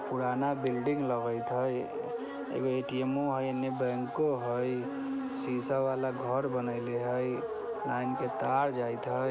पुराना बिल्डिंग लगत हई एगो ए_टी_एमो हई | एन्ने बैंको हई शीशा वाला घर बनइले हई लाइन के तार जाइत हई।